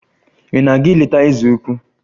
Ị na-aga ileta eze ukwu?